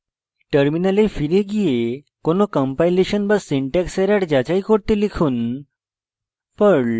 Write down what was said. terminal ফিরে গিয়ে কোনো কম্পাইলেশন বা syntax error যাচাই করতে লিখুন